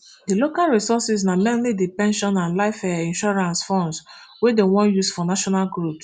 di local resources na mainly di pension and life um insurance funds wey dem wan use for national growth